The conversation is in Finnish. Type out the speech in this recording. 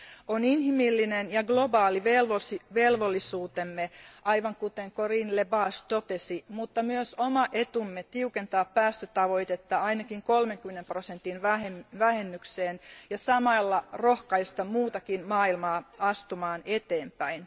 On inhimillinen ja globaali velvollisuutemme, aivan kuten Corinne Lepage totesi, mutta myös oma etumme tiukentaa päästötavoitetta ainakin 30 prosentin vähennykseen ja samalla rohkaista muutakin maailmaa astumaan eteenpäin.